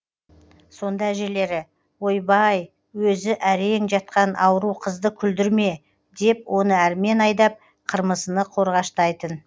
сонда әжелері ойбай өзі әрең жатқан ауру қызды күлдірме деп оны әрмен айдап қырмызыны қорғаштайтын